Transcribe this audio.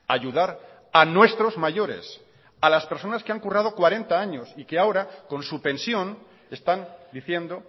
ayudar a nuestros mayores a las personas que han currado cuarenta años y que ahora con su pensión están diciendo